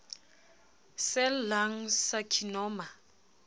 cell lung carcinoma